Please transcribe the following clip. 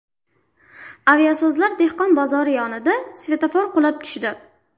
Aviasozlar dehqon bozori yaqinida svetofor qulab tushdi.